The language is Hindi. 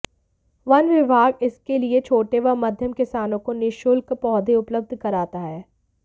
वन विभाग इसके लिये छोटे व मध्यम किसानों को निःशुल्क पौधे उपलब्ध कराता है